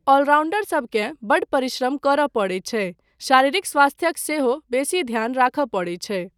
ऑलराउंडरसबकेँ बड्ड परिश्रम करय पड़ैत छै, शारीरिक स्वास्थयक सेहो बेसी ध्यान राखय पड़ैत छै।